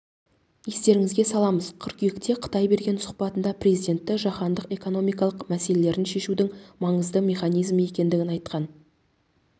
естеріңізге саламыз қыркүйекте қытай берген сұхбатында президенті жаһандық экономикалық мәселелерін шешудің маңызды механизмі екендігін айтқан